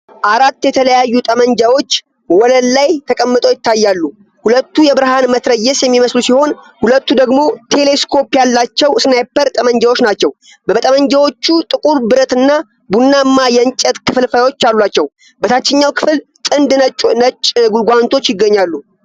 አራት የተለያዩ ጠመንጃዎች ወለሉ ላይ ተቀምጠው ይታያሉ፤ ሁለቱ የብርሃን መትረየስ የሚመስሉ ሲሆን፣ ሁለቱ ደግሞ ቴሌ ስኮፕ ያላቸው ስናይፐር ጠመንጃዎች ናቸው። ጠመንጃዎቹ ጥቁር ብረት እና ቡናማ የእንጨት ክፍልፋዮች አሏቸው። በታችኛው ክፍል ጥንድ ነጭ ጓንቶች ይገኛሉ።